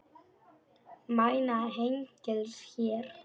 Mæna hengils hér.